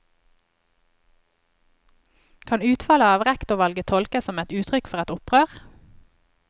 Kan utfallet av rektorvalget tolkes som uttrykk for et opprør?